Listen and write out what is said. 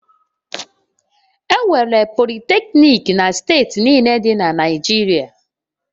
Enwere Politecnik na steeti niile dị na Naịjirịa